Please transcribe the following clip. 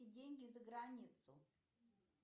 деньги за границу